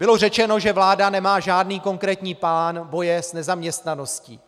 Bylo řečeno, že vláda nemá žádný konkrétní plán boje s nezaměstnaností.